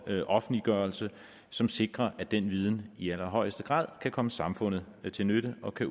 offentliggørelse som sikrer at den viden i allerhøjeste grad kan komme samfundet til nytte og kan